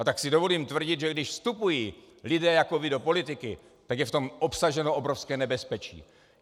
A tak si dovolím tvrdit, že když vstupují lidé jako vy do politiky, tak je v tom obsaženo obrovské nebezpečí.